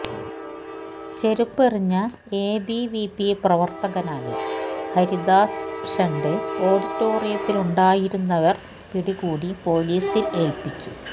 ചെരുപ്പെറിഞ്ഞ എബിവിപി പ്രവര്ത്തകനായ ഹരിദാസ് ഷെന്ഡേ ഓഡിറ്റോറിയത്തിലുണ്ടായിരുന്നവര് പിടികൂടി പൊലീസില് ഏല്പ്പിച്ചു